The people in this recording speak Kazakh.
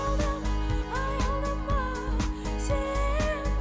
аялдама аялдама сен